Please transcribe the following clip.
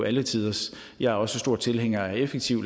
alle tiders jeg er også stor tilhænger af en effektiv